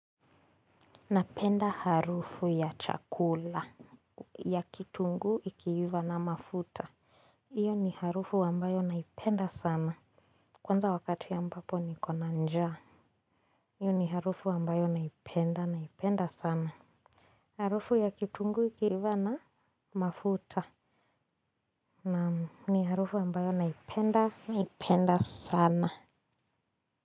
Napenda harufu ya chakula. Ya kitunguu ikiiva na mafuta. Iyo ni harufu ambayo naipenda sana. Kwanza wakati ambapo niko na njaa. Iyo ni harufu ambayo naipenda naipenda sana. Harufu ya kitungu ikiiva na mafuta na ni harufu ambayo naipenda naipenda sana.